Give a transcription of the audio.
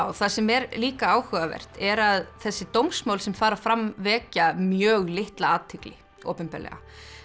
það sem er líka áhugavert er að þessi dómsmál sem fara fram vekja mjög litla athygli opinberlega